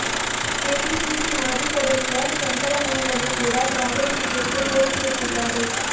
KPCC ಮಾಜಿ ಸದಸ್ಯ ಶಂಕರ ಮುನವಳ್ಳಿ ಕೂಡ ಕಾಂಗ್ರೆಸ್ ಟಿಕೆಟ್ಗೆ ಕೋರಿಕೆ ಇಟ್ಟಿದ್ದಾರೆ